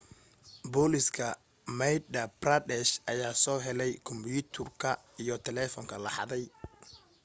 booliska madhya pradesh ayaa soo helay kombyuutarka iyo telefoonka la xaday